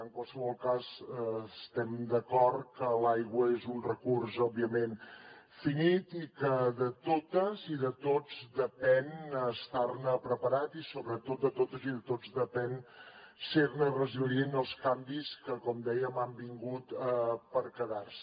en qualsevol cas estem d’acord que l’aigua és un recurs òbviament finit i que de totes i de tots depèn estar ne preparat i sobretot de totes i de tots depèn ser ne resilient als canvis que com dèiem han vingut per quedar se